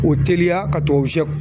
O teliya ka tubabu sɛ